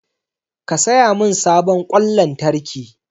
Ki saya min sabon ƙwan lantarki!